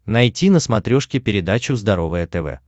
найти на смотрешке передачу здоровое тв